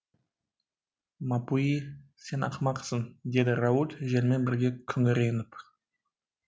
мапуи сен ақымақсың деді рауль желмен бірге күңіреніп